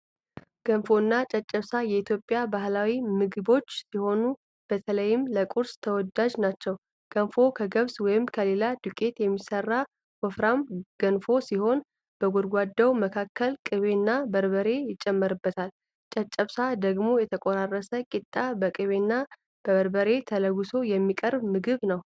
ገንፎና ጨጨብሳ የኢትዮጵያ ባህላዊ ምግቦች ሲሆኑ፣ በተለይም ለቁርስ ተወዳጅ ናቸው። ገንፎ ከገብስ ወይም ከሌላ ዱቄት የሚሠራ ወፍራም ገንፎ ሲሆን፣ በጎድጓዳው መካከል ቅቤና በርበሬ ይጨመርበታል። ጨጨብሳ ደግሞ የተቆራረሰ ቂጣ በቅቤና በበርበሬ ተለውሶ የሚቀርብ ምግብ ነው።